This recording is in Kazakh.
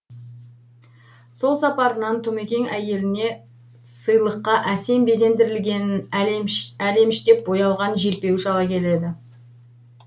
сол сапарынан тұмекең әйеліне сыйлыққа әсем безендірілген әлеміштеп боялған желпуіш ала келеді